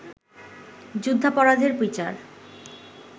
যুদ্ধাপরাধের বিচার